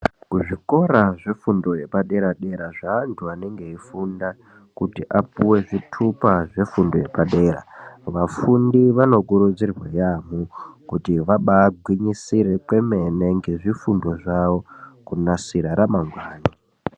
Kuzvikora zvefundo yepadera-dera zveantu anenge eifunda kuti apuwe zvitupa zvefundo yepadera, vafundi vanokurudzirwa yaamho kuti vabagwinyisire kwemene ngezvifundo zvavo kunasira ramangwani.